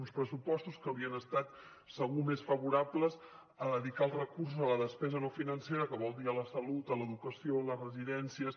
uns pressupostos que haurien estat segur més favorables a dedicar els recursos a la despesa no financera que vol dir a la salut a l’educació a les residències